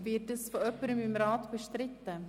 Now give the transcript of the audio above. Wird dies durch jemanden im Rat bestritten?